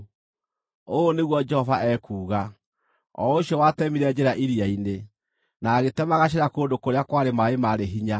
Ũũ nĩguo Jehova ekuuga, o ũcio watemire njĩra iria-inĩ, na agĩtema gacĩra kũndũ kũrĩa kwarĩ maaĩ marĩ hinya,